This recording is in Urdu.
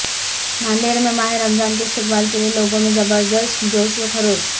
ناندیڑ میں ماہ رمضان کے استقبال کے لئے لوگوں میں زبردست جوش وخروش